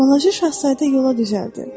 Balaca şahzadə yola düzəldi.